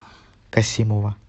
касимова